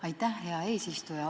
Aitäh, hea eesistuja!